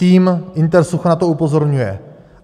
Tým Intersucha na to upozorňuje.